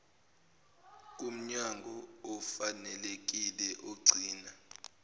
kumnyango ofanelekile ogcina